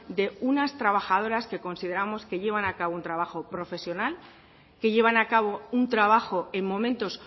de unas trabajadoras que consideramos que llevan a cabo un trabajo profesional que llevan a cabo un trabajo en momentos